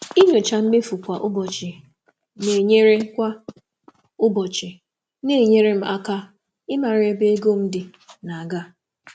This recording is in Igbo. Ịnyocha mmefu kwa ụbọchị na-enyere um m aka ịmara ebe ego m dị dị um na-aga.